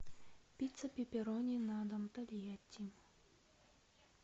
пицца пепперони на дом тольятти